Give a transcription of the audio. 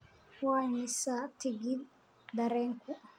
Waa imisa tigidh tareenku?